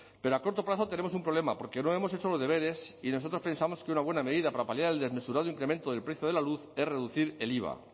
pero a corto plazo tenemos un problema porque no hemos hecho los deberes y nosotros pensamos que una buena medida para paliar el desmesurado incremento del precio de la luz es reducir el iva